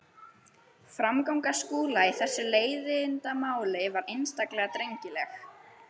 Framganga Skúla í þessu leiðindamáli var einstaklega drengileg.